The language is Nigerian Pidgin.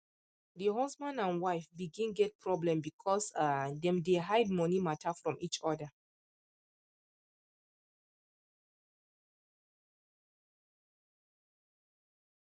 the husband and wife begin get problem because um dey dem hide money matter from each other